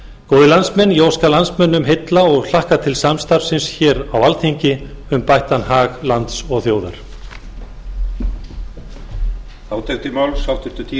góðir landsmenn ég óska landsmönnum heilla og hlakka til samstarfsins hér á alþingi um bættan hag lands og þjóðar herborg skrifaði allan guðbjart